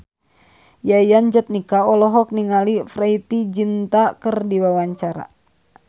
Yayan Jatnika olohok ningali Preity Zinta keur diwawancara